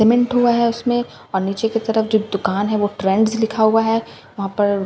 cement हुआ है उसमें और नीचे की तरफ जो दुकान है वो ट्रेंड्स लिखा हुआ है वहाँ पर --